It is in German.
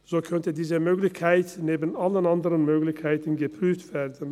So könnte diese Möglichkeit neben allen anderen Möglichkeiten geprüft werden.